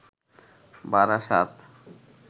Barasat